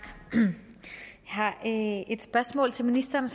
jeg har et spørgsmål til ministeren